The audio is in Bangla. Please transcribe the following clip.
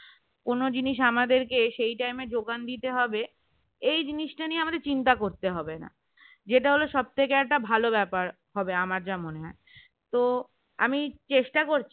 কোন জিনিস আমাদেরকে সেই time যোগান দিতে হবে এই জিনিসটা নিয়ে আমাদের চিন্তা করতে হবে না যেটা হলো সব থেকে একটা ভালো ব্যাপার হবে আমার যা মনে হয়। তো আমি চেষ্টা করছি